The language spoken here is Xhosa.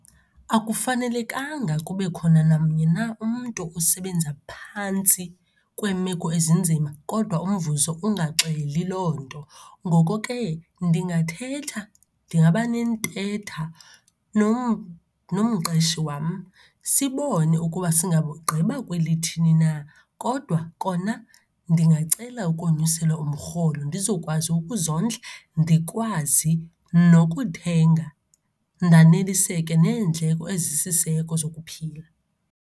Akufanelekanga kube khona namnye na umntu usebenza phantsi kweemeko ezinzima kodwa umvuzo ungaxeli loo nto. Ngoko ke, ndingathetha, ndingabanentetha nomqeshi wam sibone ukuba singabugqiba kwelithini na, kodwa kona ndingacela ukonyuselwa umrholo, ndizawukwazi ukuzondla, ndikwazi nokuthenga, ndaneliseke neendleko ezisisiseko sokuphila.